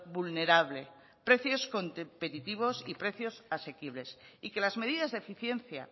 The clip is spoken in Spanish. vulnerable precios competitivos y precios asequibles y que las medidas de eficiencia